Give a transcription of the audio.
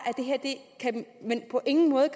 at man på ingen måde